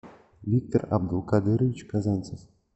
виктор абдулкадырович казанцев